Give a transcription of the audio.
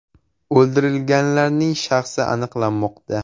O‘ldirilganlarning shaxsi aniqlanmoqda.